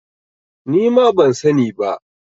Ni ma ban sa ni ba